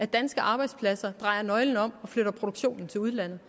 danske arbejdspladser dreje nøglen om og flytte produktionen til udlandet